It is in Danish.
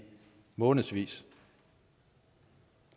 månedsvis